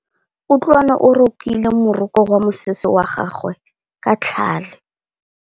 Kutlwanô o rokile morokô wa mosese wa gagwe ka tlhale.